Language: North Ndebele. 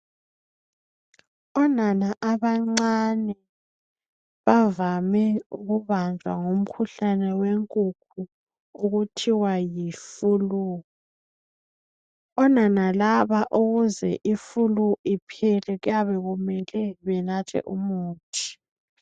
Onana abancane bavame ukubanjwa ngumkhuhlane wenkukhu okuthiwa yifulu. Onana laba ukuze ifulu iphele kuyabe kumele benathe umuthi.